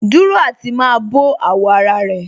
Dúró àti má bọ̀ àwọ̀ ara rẹ̀